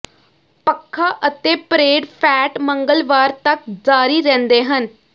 ਪੱਖਾਂ ਅਤੇ parade fat ਮੰਗਲਵਾਰ ਤੱਕ ਜਾਰੀ ਰਹਿੰਦੇ ਹਨ